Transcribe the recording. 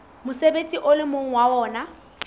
mosebetsi o leng ho wona